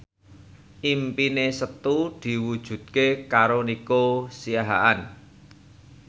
impine Setu diwujudke karo Nico Siahaan